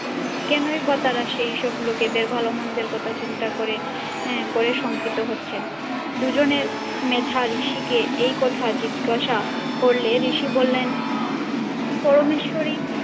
কেনই বা তারা সেই সব লোকেদের ভালো-মন্দের কথা চিন্তা করে করে আহ করে শঙ্কিত হচ্ছেন? দুজনের মেধা ঋষিকে এই কথা জিজ্ঞাসা করলে ঋষি বললেন পরমেশ্বরই